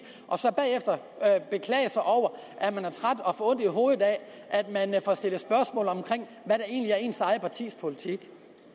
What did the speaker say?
og så bagefter beklage sig over at man er træt og får ondt i hovedet af at man får stillet spørgsmål omkring hvad der egentlig er ens eget partis politik